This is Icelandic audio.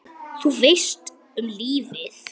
Þú veist, um lífið?